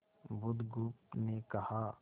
बुधगुप्त ने कहा